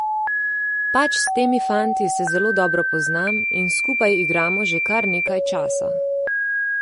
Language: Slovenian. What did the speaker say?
Pač s temi fanti se zelo dobro poznam in skupaj igramo že kar nekaj časa.